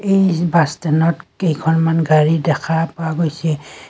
এই জি বাছ ষ্টেণ্ডত কেইখনমান গাড়ী দেখা পোৱা গৈছে।